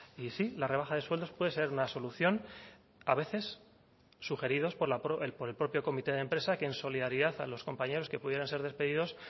y sí la rebaja de sueldos puede ser una solución a veces sugeridos por el propio comité de empresa que en solidaridad a los compañeros que pudieran ser despedidos